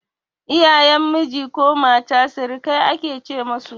Iyayen miji ko mata sirikai ake ce musu